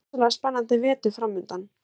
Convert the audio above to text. Rosalega spennandi vetur framundan